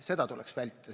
Seda tuleks vältida.